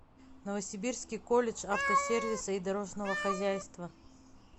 новосибирский колледж автосервиса и дорожного хозяйства